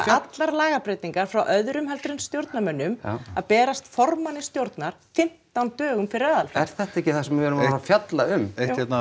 allar lagabreytingar frá öðrum heldur en stjórnarmönnum að berast formanni stjórnar fimmtán dögum fyrir aðalfund er þetta ekki það sem við erum að að fjalla um eitt hérna